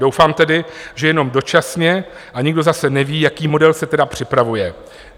Doufám tedy, že jenom dočasně, a nikdo zase neví, jaký model se tedy připravuje.